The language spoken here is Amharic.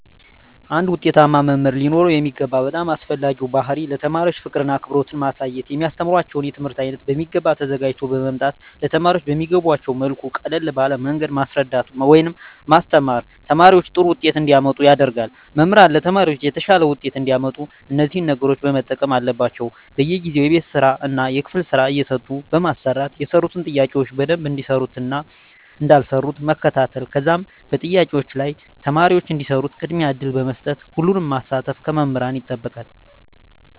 አንድ ዉጤታማ መምህር ሊኖረዉ የሚገባ በጣም አስፈላጊዉ ባህሪይ ለተማሪዎች ፍቅርን አክብሮትን ማሳየት የሚያስተምራቸዉን የትምህርት አይነት በሚገባ ተዘጋጅተዉ በመምጣት ለተማሪዎች በሚገቧቸዉ መልኩ ቀለል ባለ መንገድ ማስረዳት ወይም ማስተማር ተማሪዎች ጥሩ ዉጤት እንዲያመጡ ያደርጋል መምህራን ለተማሪዎች የተሻለ ዉጤት እንዲያመጡ እነዚህን ነገሮች መጠቀም አለባቸዉ በየጊዜዉ የቤት ስራእና የክፍል ስራ እየሰጡ በማሰራት የሰሩትን ጥያቄዎች በደንብ እንደሰሩትእና እንዳልሰሩት መከታተል ከዛም በጥያቄዎች ላይ ተማሪዎች እንዲሰሩት ቅድሚያ እድል በመስጠት ሁሉንም ማሳተፍ ከመምህራን ይጠበቃል